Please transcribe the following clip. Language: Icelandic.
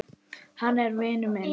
Hann er vinur minn.